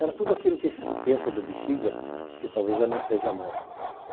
Era tudo aquilo que se pensa do Bixiga, que talvez já não seja mais.